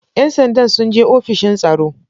‘Yan sandan sun je ofishin tsaro.